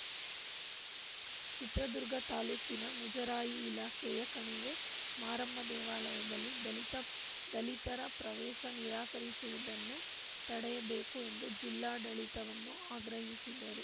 ಚಿತ್ರದುರ್ಗ ತಾಲೂಕಿನ ಮುಜರಾಯಿ ಇಲಾಖೆಯ ಕಣಿವೆ ಮಾರಮ್ಮ ದೇವಾಲಯದಲ್ಲಿ ದಲಿತ ದಲಿತರ ಪ್ರವೇಶ ನಿರಾಕರಿಸಿರುವುದನ್ನು ತಡೆಯಬೇಕು ಎಂದು ಜಿಲ್ಲಾಡಳಿತವನ್ನು ಆಗ್ರಹಿಸಿದರು